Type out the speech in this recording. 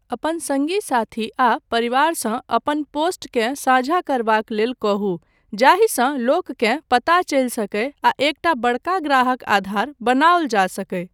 अपन सङ्गी साथी आ परिवारसँ अपन पोस्टकेँ साझा करबाक लेल कहू, जाहिसँ लोककेँ पता चलि सकय आ एकटा बड़का ग्राहक आधार बनाओल जा सकय।